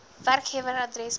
werkgewer adres poskode